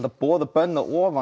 boð og bönn að ofan